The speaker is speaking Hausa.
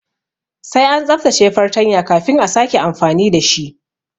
Sai an tsaftace fartanya kafin a sake amfani dashi